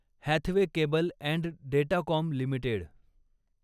Hathway cable and Datacom limited